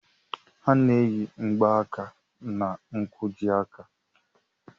A na-eyi mgbaaka na nkwojiaka.